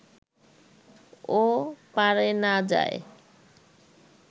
ও-পারে না যায়